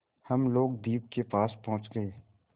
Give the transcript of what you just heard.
हम लोग द्वीप के पास पहुँच गए